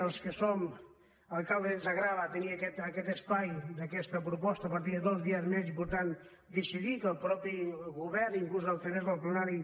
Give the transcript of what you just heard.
als que som alcaldes ens agrada tenir aquest espai d’aquesta proposta per tenir dos dies més i per tant decidir que el mateix govern inclús a través del plenari